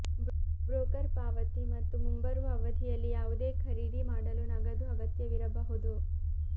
broker ಪಾವತಿ ಮತ್ತು ಮುಂಬರುವ ಅವಧಿಯಲ್ಲಿ ಯಾವುದೇ ಖರೀದಿ ಮಾಡಲು ನಗದು ಅಗತ್ಯವಿರಬಹುದು